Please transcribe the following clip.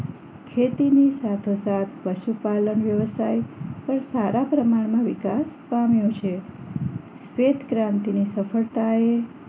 ખેતીની સાથો સાથ પશુપાલન વ્યવસાય પણ સારા પ્રમાણમાં વિકાસ પામ્યો છે શ્વેતક્રાંતિની સફળતાએ